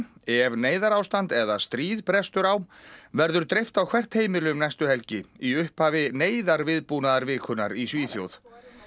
ef neyðarástand eða stríð brestur á verður dreift á hvert heimili um næstu helgi í upphafi í Svíþjóð